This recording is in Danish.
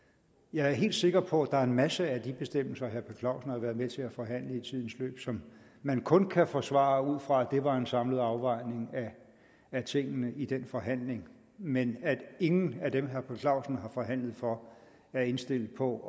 jeg er helt sikker på at der er en masse af de bestemmelser herre per clausen har været med til at forhandle i tidens løb som man kun kan forsvare ud fra at det var en samlet afvejning af tingene i den forhandling men at ingen af dem herre per clausen har forhandlet for er indstillet på